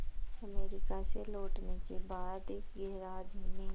America से लौटने के बाद गैराज में